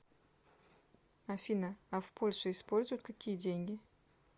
афина а в польше используют какие деньги